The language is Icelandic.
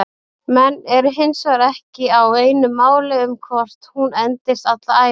Menn eru hinsvegar ekki á einu máli um hvort hún endist alla ævi.